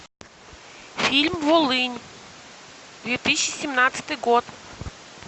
фильм волынь две тысячи семнадцатый год